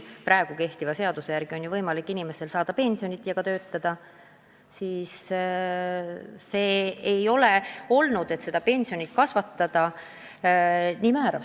Praegu kehtiva seaduse järgi on võimalik saada pensionit ja tööl käimise eest ka palka ja võimalus hilisema pensionile jäämisega oma pensionit kasvatada ei ole ahvatlev olnud.